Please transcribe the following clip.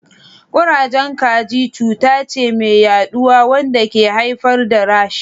Kurejen kaji cuta ce mai yaduwa wanda ke haifar da rashes.